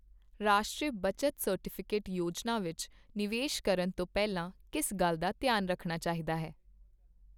ਰਾਸ਼ਟਰੀ ਬੱਚਤ ਸਰਟੀਫਿਕੇਟ ਯੋਜਨਾ ਵਿੱਚ ਨਿਵੇਸ਼ ਕਰਨ ਤੋਂ ਪਹਿਲਾ ਕਿਸ ਗੱਲ ਦਾ ਧਿਆਨ ਰੱਖਣਾ ਚਾਹੀਦਾ ਹੈ ?